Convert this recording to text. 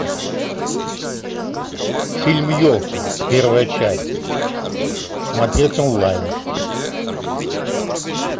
фильм елки первая часть смотреть онлайн